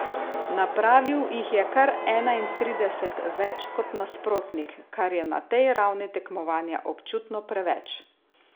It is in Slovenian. Napravil jih je kar enaintrideset več kot nasprotnik, kar je na tej ravni tekmovanja občutno preveč.